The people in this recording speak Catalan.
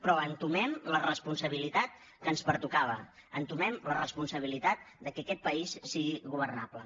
però entomem la responsabilitat que ens pertocava entomem la responsabilitat que aquest país sigui governable